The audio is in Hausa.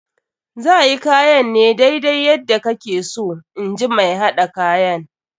Za yi kayan ne daidai yadda kake so in ji mai haɗa kayan.